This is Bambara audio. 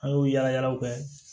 An y'o yalayalaw kɛ